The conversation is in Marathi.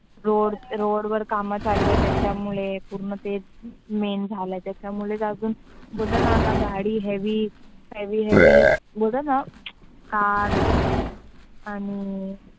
Road, road वर काम चालू असायची त्यामुळे, main झाले त्याच्यामुळे अजून ते. बोलतात ना गाडी heavy heavy बोलतात ना cars